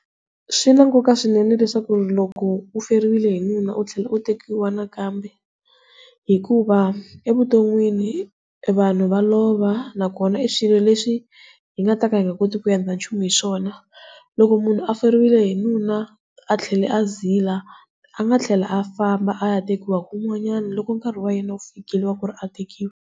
Swi na nkoka swinene leswaku ri loko u feriwile hi nuna u tlhela u tekiwa nakambe hikuva evuton'wini vanhu va lova na kona swilo leswi hi nga ta ka hi nga kotiki ku endla nchumu hi swona. Lloko munhu a feriwile hi nuna a tlhela a zila a ngaa tlhela a famba a ya tekiwa kun'wanyani loko nkarhi wa yena u fikile waku ri a tekiwa.